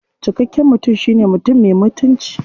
Cikakken mutum shine mutum me mutunci.